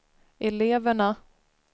eleverna